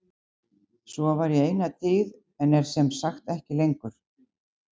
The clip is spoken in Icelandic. Svo var í eina tíð en er sem sagt ekki lengur.